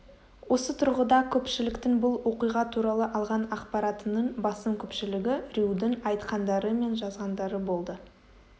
осы тұрғыда көпшіліктің бұл оқиға туралы алған ақпаратының басым көпшілігі рьюдің айтқандары мен жазғандары болды